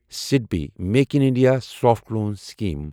صِدبی make in India صافٹہ لوٗن scheme